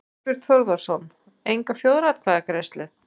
Þorbjörn Þórðarson: Enga þjóðaratkvæðagreiðslu?